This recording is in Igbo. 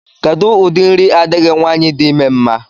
Kedụ ụdị nri adịghị nwaanyị di ime mma?